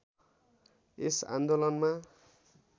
यस आन्दोलनमा